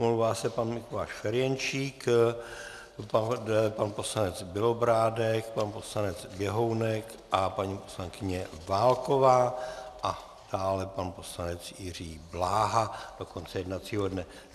Omlouvá se pan Mikuláš Ferjenčík, pan poslanec Bělobrádek, pan poslanec Běhounek a paní poslankyně Válková a dále pan poslanec Jiří Bláha do konce jednacího dne.